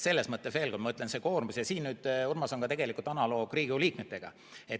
Selles mõttes ma veel kord ütlen, Urmas, et see on tegelikult analoog Riigikogu liikmetega.